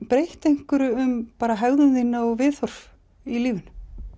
breytt einhverju um hegðun þína og viðhorf í lífinu